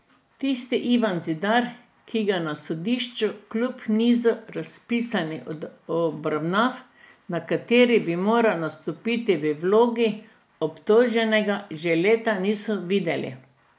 Tisti Ivan Zidar, ki ga na sodišču kljub nizu razpisanih obravnav, na katerih bi moral nastopiti v vlogi obtoženega, že leta niso videli.